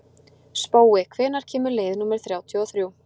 Spói, hvenær kemur leið númer þrjátíu og þrjú?